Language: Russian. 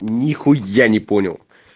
нихуя не понял